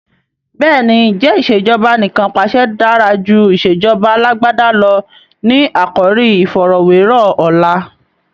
Bẹ́ẹ̀ni, "ǹjẹ́ ìsèjọba anìkanpàṣẹ dára jù ìsèjọba Alàgbàda lọ? " ni àkòrí iìfọ̀rọ̀wẹ́rọ̀ ọ̀la.